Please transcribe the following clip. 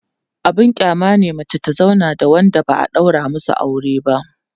abun kyama ne mace ta zauna da Wanda ba'a ɗaura masu aure ba